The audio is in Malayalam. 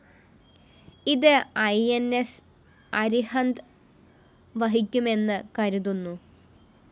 ഇത് ഇ ന്‌ സ്‌ അരിഹന്ത് വഹിക്കുമെന്ന് കരുതുന്നു